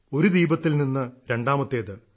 ഒരു ദീപത്തിൽ നിന്ന് രണ്ടാമത്തേത്